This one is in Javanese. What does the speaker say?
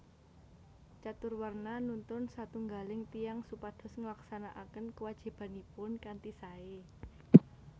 Caturwarna nuntun satunggaling tiyang supados nglaksanakaken kuwajibanipun kanthi sae